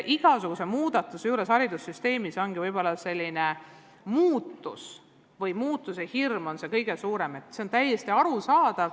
Igasuguse muudatuse puhul, mis haridussüsteemis tehakse, ongi võib-olla muutuse hirm see kõige suurem hirm ja see on täiesti arusaadav.